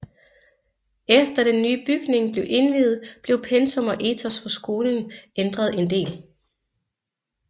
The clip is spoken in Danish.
Efter den nye bygning blev indviet blev pensum og etos for skolen ændret en del